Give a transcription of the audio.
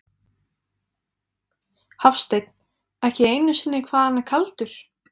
Hafsteinn: Ekki einu sinni hvað hann er kaldur?